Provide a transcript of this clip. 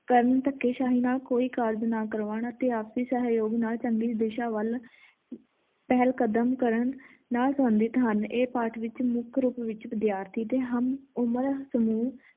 ਕਰਨ ਧੱਕੇਸ਼ਾਹੀ ਨਾਲ ਕੋਈ ਕਾਰਜ ਨਾ ਕਰਵਾਉਣ ਤੇ ਆਪਸੀ ਸਹਿਯੋਗ ਨਾਲ ਚੰਗੀ ਦਿਸ਼ਾ ਵੱਲ ਪਹਿਲ ਕਦਮ ਕਰਨ ਨਾ ਚਾਹੁੰਦੇ ਸਨ ਇਹ ਪਾਠ ਵਿੱਚ ਮੁੱਖ ਰੂਪ ਵਿੱਚ ਵਿਦਿਆਰਥੀ ਤੇ ਹਮ ਉਮਰ ਸਮੂਹ